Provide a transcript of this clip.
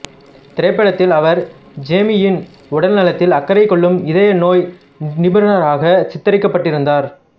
திரைப்படத்தில் அவர் ஜேமீயின் உடல்நலத்தில் அக்கறை கொள்ளும் இதயநோய் நிபுணராக சித்தரிக்கப்பட்டிருந்தார்